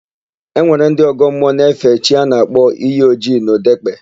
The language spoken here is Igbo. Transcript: E nwere ndị ọgọ mmụọ na-efe chi a na-akpọ Iyi Ojii n'Ọdekpe.